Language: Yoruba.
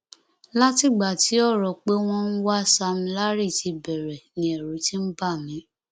látìgbà tí ọrọ pé wọn ń wá sam larry ti bẹrẹ ni ẹrù ti ń bà mí